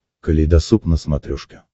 калейдосоп на смотрешке